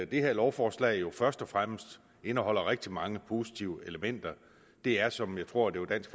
det her lovforslag jo først og fremmest indeholder rigtig mange positive elementer det er som jeg tror dansk